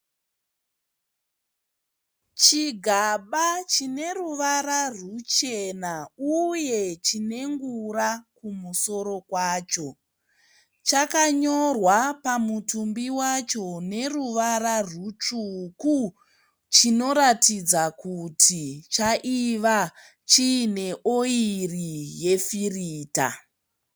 Chigaba chineruvara rwuchena uye chine ngura kumusoro kwacho. Chakanyorwa pamutumbi wacho neruvara rwutsvuku, chinoratidza kuti chaiva chiine oyiri yefirita.